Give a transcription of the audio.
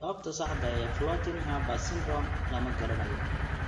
Sababta saxda ah ee Floating Harbor syndrome lama garanayo.